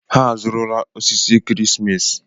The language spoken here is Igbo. Ha azụrụla osisi ekeresimesi.